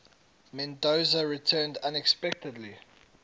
mendoza returned unexpectedly